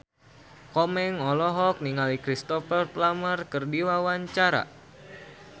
Komeng olohok ningali Cristhoper Plumer keur diwawancara